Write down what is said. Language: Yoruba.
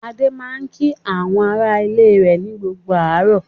Adé máa ń kí àwọn aráalé rẹ̀ ní gbogbo àárọ̀.